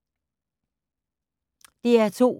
DR2